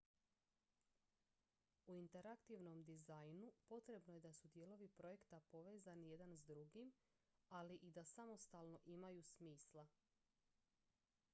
u interaktivnom dizajnu potrebno je da su dijelovi projekta povezani jedan s drugim ali i da samostalno imaju smisla